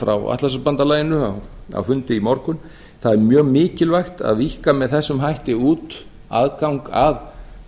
frá atlantshafsbandalaginu á fundi í morgun það er mjög mikilvægt að víkka með þessum hætti út aðgang að